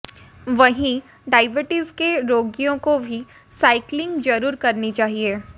वहीं डायबटीज के रोगियों को भी साइकिलिंग जरुर करनी चाहिए